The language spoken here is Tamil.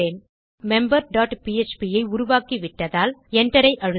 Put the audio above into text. மெம்பர் டாட் பிஎச்பி ஐ உருவாக்கிவிட்டதால் Enter ஐ அழுத்தலாம்